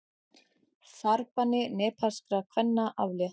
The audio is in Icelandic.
Farbanni nepalskra kvenna aflétt